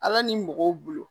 Ala ni mɔgɔw bolo